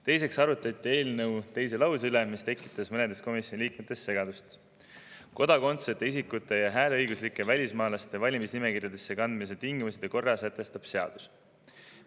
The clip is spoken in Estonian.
Teiseks arutati eelnõu teise lause üle, mis tekitas mõnes komisjoni liikmes segadust: "Kodakondsuseta isikute ja hääleõiguslike välismaalaste valimisnimekirjadesse kandmise tingimused ja korra sätestab seadus.